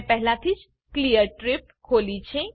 મેં પહેલાથી જ ક્લિયર ટ્રિપ ખોલી છે